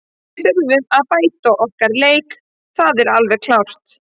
Við þurfum að bæta okkar leik, það er alveg klárt.